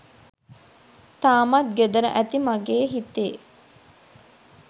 තාමත් ගෙදර ඇති මගෙ හිතේ